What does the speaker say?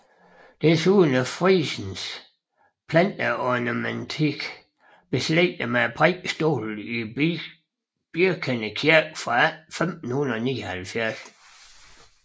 Desuden er frisens planteornamentik beslægtet med prædikestolen i Birkende Kirke fra 1579